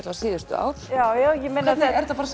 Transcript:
vega síðustu ár já já er það bara